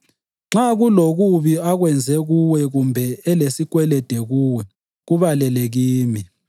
Nxa kulokubi akwenze kuwe kumbe elesikwelede kuwe, kubalele kimi.